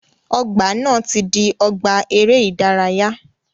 Ọgbà na ti di ọgbà eré ìdárayá.